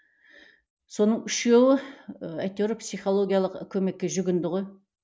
соның үшеуі і әйтеуір психологиялық көмекке жүгінді ғой